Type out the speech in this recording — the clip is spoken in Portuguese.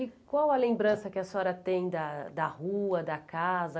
E qual a lembrança que a senhora tem da da rua, da casa?